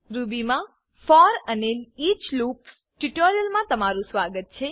રૂબીમા for અને each loops ટ્યુટોરીયલમા તમારું સ્વાગત છે